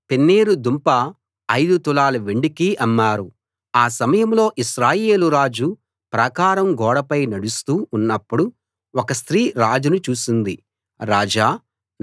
ఆ సమయంలో ఇశ్రాయేలు రాజు ప్రాకారం గోడపై నడుస్తూ ఉన్నప్పుడు ఒక స్త్రీ రాజును చూసింది రాజా నా ప్రభూ సహాయం చెయ్యండి అంటూ కేకలు పెట్టింది